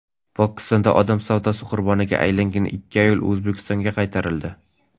Pokistonda odam savdosi qurboniga aylangan ikki ayol O‘zbekistonga qaytarildi .